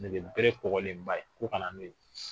Nɛgɛbere kɔgɔlenba ye k'u ka na n'o ye